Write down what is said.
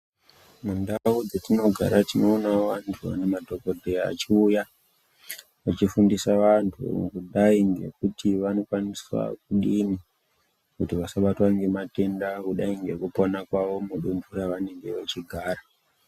Mundau dzetinogara tinoonawo vantu kana madhogodheya achiuya vechifundisa vantu kudai ngekuti vanokwaniswa kudini kuti vasabatwa ngematenda kudai ngekupona kwavo mudunhu ravanenge vechigara.